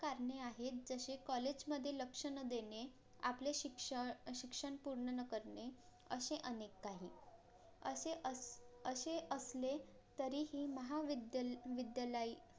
कारणे आहेत जसे COLLAGE मधे लक्ष न देणे आपले शिक्ष शिक्षण पूर्ण न करणे अशे अनेक काही असे अस अशे असले तरीही महाविद्या विद्यालय